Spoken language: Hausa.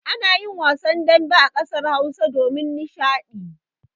Ana yin wasan dambe a ƙasar Hausa domin nishaɗi.